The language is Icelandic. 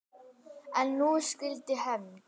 En nú skyldi hefnt.